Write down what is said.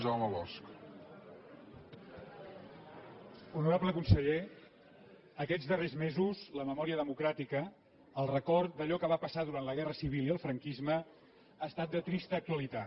honorable conseller aquests darrers mesos la memòria democràtica el record d’allò que va passar durant la guerra civil i el franquisme ha estat de trista actualitat